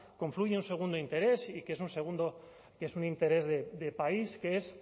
confluye un segundo interés y que es un interés de país que es